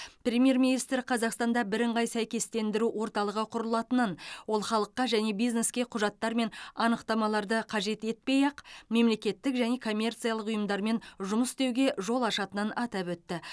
премьер министр қазақстанда бірыңғай сәйкестендіру орталығы құрылатынын ол халыққа және бизнеске құжаттар мен анықтамаларды қажет етпей ақ мемлекеттік және коммерциялық ұйымдармен жұмыс істеуге жол ашатынын атап өтті